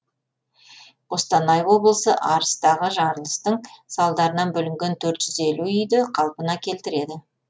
қостанай облысы арыстағы жарылыстың салдарынан бүлінген төрт жүз елу үйді қалпына келтіреді